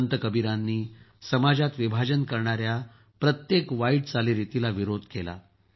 संत कबीरांनी समाजात विभाजन करणाऱ्या प्रत्येक वाईट चालीरितीला विरोध केला